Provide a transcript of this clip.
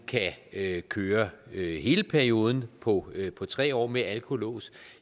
kan køre hele perioden på på tre år med alkolås